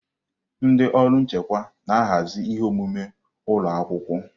Ndị ọrụ nchịkwa na-ahazi ihe omume ụlọ akwụkwọ.